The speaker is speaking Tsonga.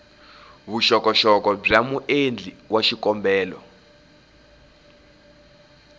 vuxokoxoko bya muendli wa xikombelo